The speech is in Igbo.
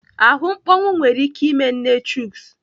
Ahụ mkpọnwụ nwere ike ime nne Chuks.